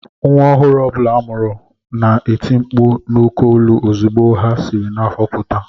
Nwa ọhụrụ ọ bụla a mụrụ na-eti mkpu n’oké olu ozugbo ha siri n’afọ pụta